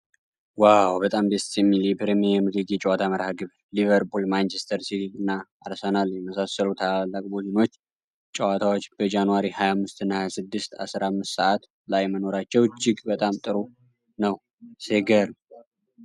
ዋው! በጣም ደስ የሚል የፕሪምየር ሊግ የጨዋታ መርሐግብር! ሊቨርፑል፣ ማንችስተር ሲቲ እና አርሰናልን የመሰሉ ታላላቅ ቡድኖች ጨዋታዎች በጃንዋሪ 25 እና 26፣ 15፡00 ላይ መኖራቸው እጅግ በጣም ጥሩ ነው። ሲገርም!